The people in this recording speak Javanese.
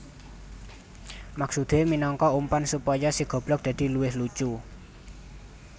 Maksudé minangka umpan supaya si goblog dadi luwih lucu